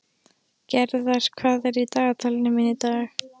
Gerðar, hvað er í dagatalinu mínu í dag?